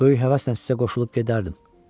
Böyük həvəslə sizə qoşulub gedərdim.